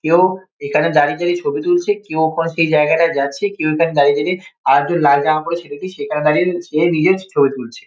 কেউ এখানে দাঁড়িয়ে দাঁড়িয়ে ছবি তুলছে কেউ ওপাশ দিয়ে সেই জায়গাটায় যাচ্ছে কেউ এখানে দাঁড়িয়ে দাঁড়িয়ে আরেকজন লাল জামা পরে ছেলেটি সেখানে দাঁড়িয়ে সে নিজের ছবি তুলছে।